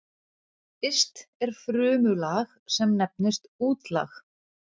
yst er frumulag sem nefnist útlag